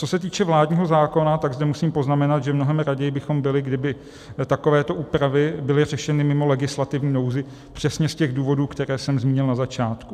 Co se týče vládního zákona, tak zde musím poznamenat, že mnohem raději bychom byli, kdyby takovéto úpravy byly řešeny mimo legislativní nouzi přesně z těch důvodů, které jsem zmínil na začátku.